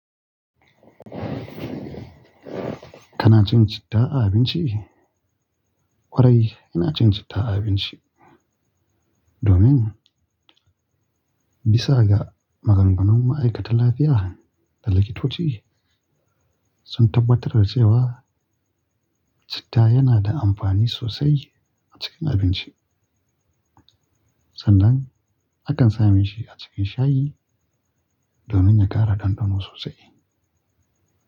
Kana cin citta a abinci? Kwarai ina cin citta a abinci. Domin bisa ga maganganun ma'aikatan lafiya da likitoci sun tabbatar da cewa citta yana da amfani sosai a cikin abinci sannan akan samun shi a cikin shayi domin ya ƙara ɗanɗano sosai.